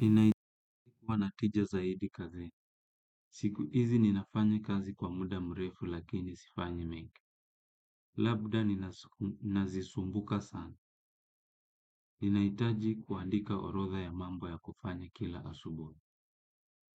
Ninahitajiwa na tija zaidi kazini. Siku hizi ninafanya kazi kwa muda mrefu lakini sifanyi mingi. Labda nina zisumbuka sana. Ninahitaji kuandika orodha ya mambo ya kufanya kila asubuhi.